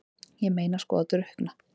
Ég meina sko að drukkna?